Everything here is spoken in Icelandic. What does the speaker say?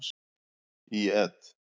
Í et.